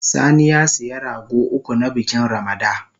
Sani ya siya rago uku, na bikin Ramada